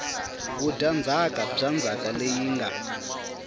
vudyandzhaka bya ndzhaka leyi nga